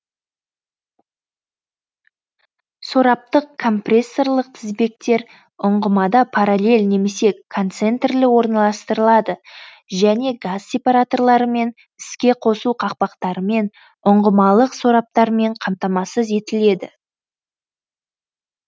сораптық компрессорлық тізбектер ұңғымада параллель немесе концентрлі орналастырылады және газ сепараторларымен іске қосу қақпақтарымен ұңғымалық сораптармен қамтамасыз етіледі